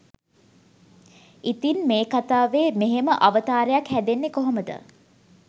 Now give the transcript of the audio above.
ඉතින් මේ කතාවේ මෙහෙම අවතාරයක් හැදෙන්නේ කොහොමද